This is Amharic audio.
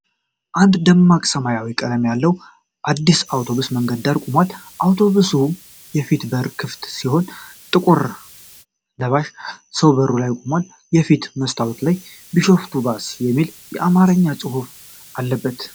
አንድ ደማቅ ሰማያዊ ቀለም ያለው አዲስ አውቶቡስ በመንገድ ዳር ቆሟል። የአውቶቡሱ የፊት በር ክፍት ሲሆን፣ ጥቁር ለባሽ ሰው በሩ ጋር ቆሟል። የፊት መስታወት ላይ "ቢሾፍቱ ባስ" የሚል የአማርኛ ጽሑፍ አለበት።